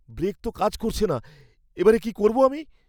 Break তো কাজ করছে না, এ বারে কী করবো আমি?